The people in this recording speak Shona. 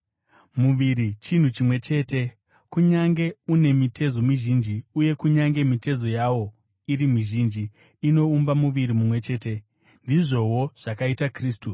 Muviri chinhu chimwe chete, kunyange une mitezo mizhinji; uye kunyange mitezo yawo iri mizhinji, inoumba muviri mumwe chete. Ndizvowo zvakaita Kristu.